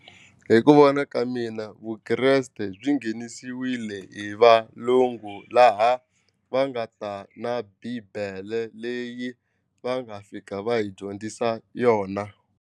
Hi ku vona ka mina Vukreste byi nghenisiwile hi valungu laha va nga ta na bibele leyi va nga fika va hi dyondzisa yona.